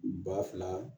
Ba fila